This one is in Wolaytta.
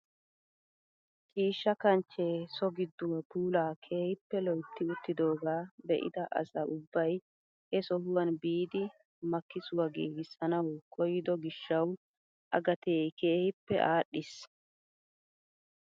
Ciishsha kanchchee so gidduwaa puulaa keehippe loytti uttidogaa be'ida asa ubbay he sohuwaan biidi makkisuwaa gigissanawu koyido gishshawu A gatee kehippe adhdhiis!